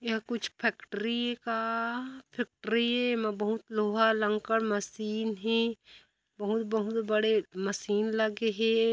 यह कुछ फैक्ट्री का फैक्ट्री म बहुत लोहा लंकर मशीन हे बहुत बहुत बड़े मशीन लगे हे।